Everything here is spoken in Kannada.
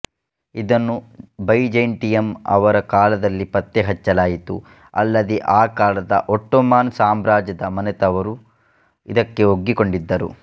ಇದನ್ನು ಬೈಜೈಂಟಿಯಮ್ ಅವರ ಕಾಲದಲ್ಲಿ ಪತ್ತೆ ಹಚ್ಚಲಾಯಿತುಅಲ್ಲದೇ ಆ ಕಾಲದ ಒಟ್ಟೊಮನ್ ಸಾಮ್ರಾಜ್ಯದ ಮನೆತವರೂ ಇದಕ್ಕೆ ಒಗ್ಗಿಕೊಂಡಿದ್ದರು